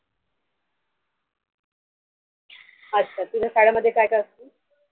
अच्छा तुझ्या शाळे मध्ये काय काय असत.